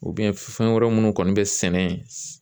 fɛn wɛrɛ minnu kɔni bɛ sɛnɛ yen